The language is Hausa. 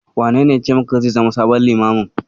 Wanene yace maka zai zama sabon Limamin?